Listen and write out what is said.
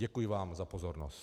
Děkuji vám za pozornost.